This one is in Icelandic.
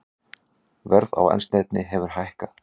Verð á eldsneyti hefur lækkað